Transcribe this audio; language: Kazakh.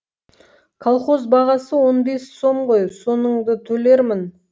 колхоз бағасы он бес сом ғой соныңды төлермін